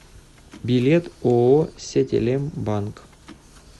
билет ооо сетелем банк